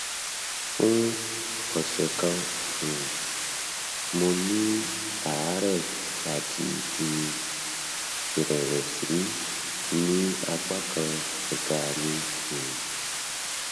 fún ọsẹ kan um mo ní àárẹ àti um ìrẹwẹsì ní apá kan ẹka mi um